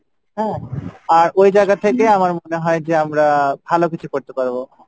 হ্যাঁ? আর ওই জায়গা থেকে আমার মনে হয় যে আমরা ভালো কিছু করতে পারবো।